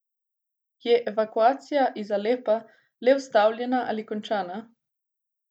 Je evakuacija iz Alepa le ustavljena ali končana?